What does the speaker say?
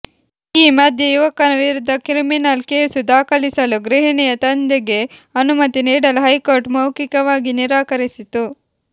ಈ ಮಧ್ಯೆ ಯುವಕನ ವಿರುದ್ಧ ಕ್ರಿಮಿನಲ್ ಕೇಸು ದಾಖಲಿಸಲು ಗೃಹಿಣಿಯ ತಂದೆಗೆ ಅನುಮತಿ ನೀಡಲು ಹೈಕೋರ್ಟ್ ಮೌಖಿಕವಾಗಿ ನಿರಾಕರಿಸಿತು